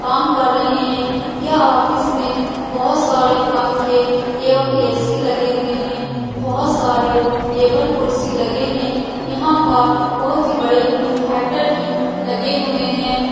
काम कर रहे है यह ऑफिस में बहुत सारे पंखे एवं ए.सी. लगे हुए है बहुत सारे टेबल कुसी लगे हैं यहाँ पर बहुत ही बड़े इन होटल की लगे हुए हैं ।